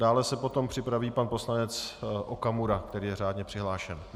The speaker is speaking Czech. Dále se potom připraví pan poslanec Okamura, který je řádně přihlášen.